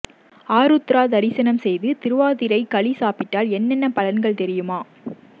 ஆருத்ரா தரிசனம் செய்து திருவாதிரை களி சாப்பிட்டால் என்னென்ன பலன்கள் தெரியுமா